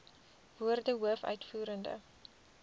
woorde hoof uitvoerende